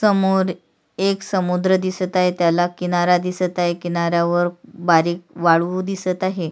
समोर एक समुद्र दिसत आहे त्याला किनारा दिसत आहे किनाऱ्यावर बारीक वाळू दिसत आहे.